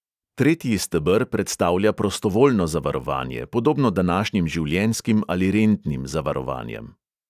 Tretji steber predstavlja prostovoljno zavarovanje, podobno današnjim življenjskim ali rentnim zavarovanjem.